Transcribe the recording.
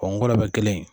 ngɔlɔbɛ bɛ kelen